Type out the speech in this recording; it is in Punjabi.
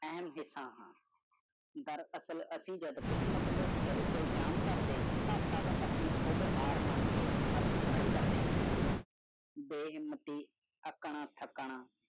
ਇਹ ਕਿੱਥੇ ਆ ਸਕਦਾ ਹੈ ਦਰਸਾਲ ਆਸੀ ਜਾਦੂਨ ਕਿਸਮਤ ਤਾਇਆ ਸਾਰਾ ਤਾਇਆ ਜਮ ਕਰਦੀ ਤ ਆਸੀ ਖਿਡ ਹਰ ਮਨ ਗਿਆ ਹੱਥ ਖੜੀ ਕਰਦੀ ਹਾਂ ਬੇ ਹੁਰਮਤਿ ਅਤਾ ਠਾਕਰ